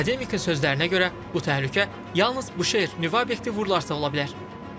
Akademik sözlərinə görə, bu təhlükə yalnız Büşehir nüvə obyekti vurularsa ola bilər.